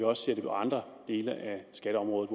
også ser det på andre dele af skatteområdet